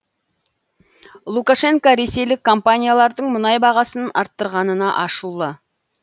лукашенко ресейлік компаниялардың мұнай бағасын арттырғанына ашулы